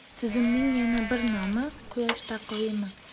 Tizimning yana bir nomi – quyosh taqvimi.